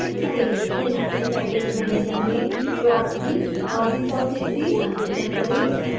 synaptic package manager में proxy और repository configure करें